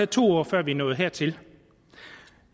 to år før vi er nået hertil